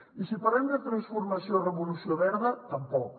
i si parlem de transformació i revolució verda tampoc